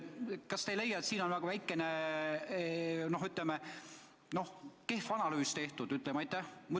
Kas te ei leia, et siin on nagu kehv analüüs tehtud?